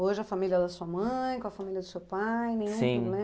Hoje a família da sua mãe, com a família do seu pai